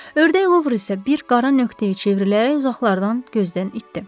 Ördəklor isə bir qara nöqtəyə çevrilərək uzaqlardan gözdən itdi.